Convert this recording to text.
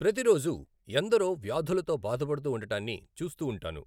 ప్రతిరోజూ ఎందరో వ్యాధులతో బాధపడుతూ ఉండటాన్ని చూస్తూ ఉంటాను.